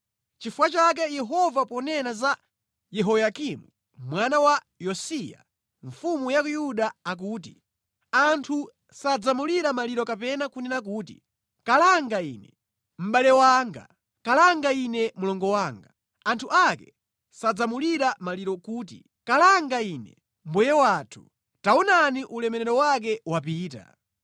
Nʼchifukwa chake Yehova ponena za Yehoyakimu mwana wa Yosiya mfumu ya ku Yuda akuti, “Anthu sadzamulira maliro kapena kunena kuti, ‘Kalanga ine, mʼbale wanga! Kalanga ine mlongo wanga! Anthu ake sadzamulira maliro kuti, Kalanga ine, mbuye wathu! Taonani ulemerero wake wapita!’